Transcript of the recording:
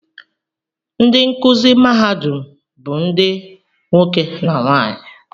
Ndị nkụzi mahadum bụ ndị nwoke na nwaanyị